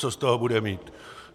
Co z toho bude mít?